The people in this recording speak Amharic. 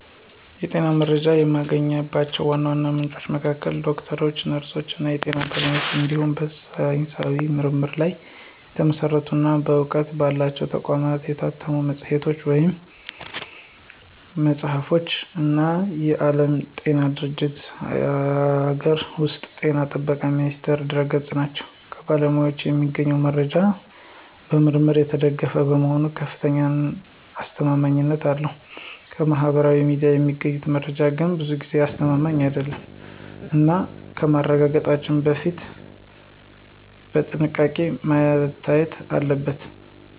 የጤና መረጃ የማገኝባቸው ዋና ዋና ምንጮች መካከል ዶክተሮች፣ ነርሶች እና የጤና ባለሙያዎች እንዲሁም በሳይንሳዊ ምርምር ላይ የተመሰረቱ እና በእውቅና ባላቸው ተቋማት የታተሙ መጽሐፍት ወይም መጽሔቶች እና የዓለም ጤና ድርጅትእና የአገር ውስጥ ጤና ጥበቃ ሚኒስቴር ድረ-ገጾች ናቸው። ከባለሙያዎች የሚገኘው መረጃ በምርምር የተደገፈ በመሆኑ ከፍተኛ አስተማማኝነት አለው። ከማህበራዊ ሚዲያ የሚገኘው መረጃ ግን ብዙ ጊዜ አስተማማኝ አይደለም እና ከማረጋገጥ በፊት በጥንቃቄ መታየት አለበት።